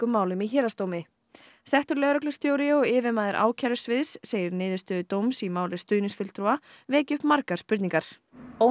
settur lögreglustjóri og yfirmaður segir niðurstöðu dóms í máli stuðningsfulltrúa vekja upp margar spurningar óneitanlega